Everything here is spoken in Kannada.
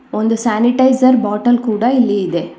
ಒಂದು ಸಾನಿಟೈಜರ್ ಬಾಟಲ್ ಕೂಡ ಇಲ್ಲಿ ಇದೆ.